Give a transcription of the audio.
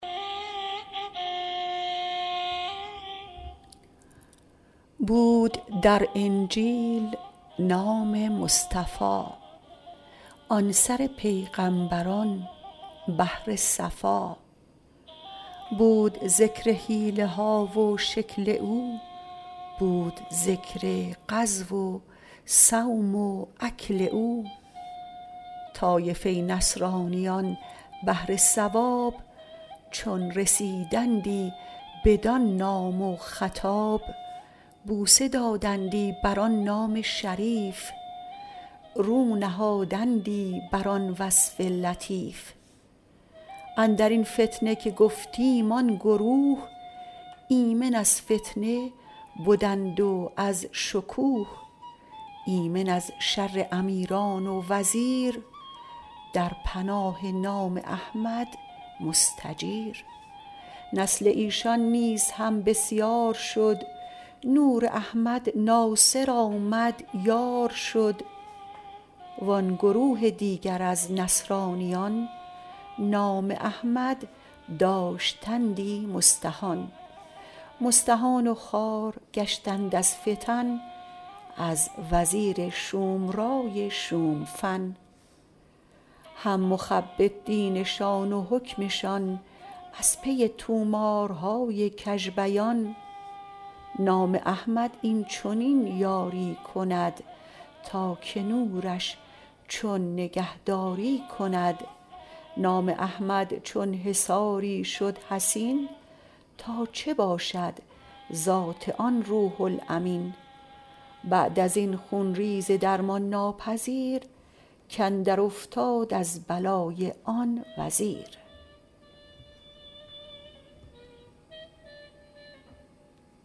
بود در انجیل نام مصطفی آن سر پیغامبران بحر صفا بود ذکر حلیه ها و شکل او بود ذکر غزو و صوم و اکل او طایفه نصرانیان بهر ثواب چون رسیدندی بدان نام و خطاب بوسه دادندی بر آن نام شریف رو نهادندی بر آن وصف لطیف اندرین فتنه که گفتیم آن گروه ایمن از فتنه بدند و از شکوه ایمن از شر امیران و وزیر در پناه نام احمد مستجیر نسل ایشان نیز هم بسیار شد نور احمد ناصر آمد یار شد وان گروه دیگر از نصرانیان نام احمد داشتندی مستهان مستهان و خوار گشتند از فتن از وزیر شوم رای شوم فن هم مخبط دینشان و حکمشان از پی طومارهای کژ بیان نام احمد این چنین یاری کند تا که نورش چون نگهداری کند نام احمد چون حصاری شد حصین تا چه باشد ذات آن روح الامین بعد ازین خون ریز درمان ناپذیر کاندر افتاد از بلای آن وزیر